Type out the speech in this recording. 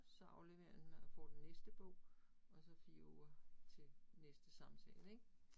Så afleverer den man og får den næste bog, og så 4 uger til næste samtale ik